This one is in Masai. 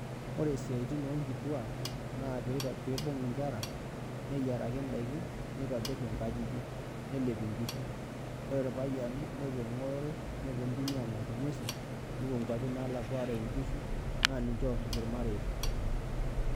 Ore siatin onkituak na peibung nkera neyiaraki ndakini nitobir nkajijik nelep inkishu ore irpayiani nepuo engorore nepuo ntimi angor ngwesi, nepuo nkwapi nalakwa ayau nkishu na ninche orip irmareita.